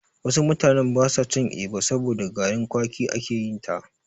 Wasu mutanen basa cin Eba, saboda da garin kwaki ake yinta.